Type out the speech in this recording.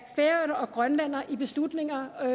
færøerne og grønland i beslutninger om